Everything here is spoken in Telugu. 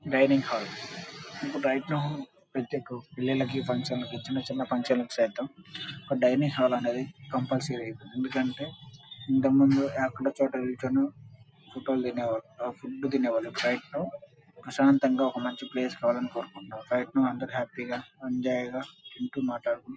Dining hall . Right now function కి చిన్న చిన్న ఫంక్షన్ కి డైనింగ్ హాల్ అనేది కంపల్సరీ . ఎందుకంటె ఇంతక ముందు ఏ చోట దొరుకుతే అక్కడ తినేవాళ్లు ఫుడ్ తినేవాళ్లు. రైట్ నౌ ప్రశాంతంగా ఉండే ప్లేస్ లో హ్యాపీ గా ఎంజాయ్ చేస్తున్నారు.